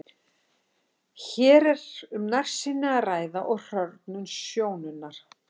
Hér er um nærsýni að ræða og hrörnun sjónunnar.